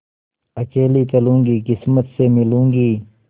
अकेली चलूँगी किस्मत से मिलूँगी